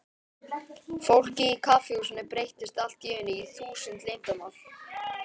Fólkið í kaffihúsinu breyttist allt í einu í þúsund leyndarmál.